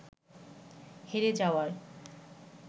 হেরে যাওয়ার